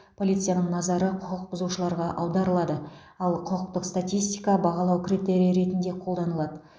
полицияның назары құқық бұзушыларға аударылады ал құқықтық статистика бағалау критерийі ретінде қолданылады